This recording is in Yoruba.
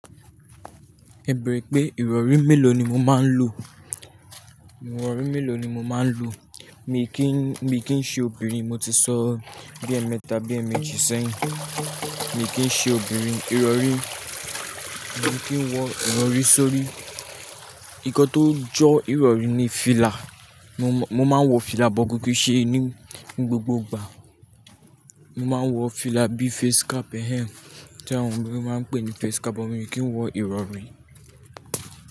E bẹrẹ pé ìrọ̀rí mélòó ni mo máa ń lo? Ìrọ̀rí mélòó ni mo máa ń lo? Mi kì í, mi kì í ṣe obìnrin, mo ti sọ bí ẹmẹta bí ẹméjì sẹ́yìn. Mi kì í ṣe obìnrin, ìrọ̀rí, mi kì í wọ ìrọ̀rí sórí. Ǹnkan tó jọ ìrọ̀rí ni fìlà. Mo máa ń wọ fìlà bọ̀ ko ki n ṣe ní gbogbo ìgbà. Mo máa ń wọ fìlà bíi face cap, ehe! Tí àwọn obìnrin máa ń pè ní face cap, mo sì kí ń wọ ìrọ̀rí.